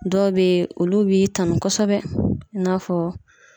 Dɔw be yen, olu b'i tanu kosɛbɛ. I n'a fɔ